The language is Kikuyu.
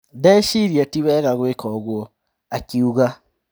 Ndĩreciria tiwega gwĩka ũguo," akiuga.